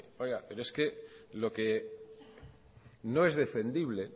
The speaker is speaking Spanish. oiga pero es que lo que no es defendible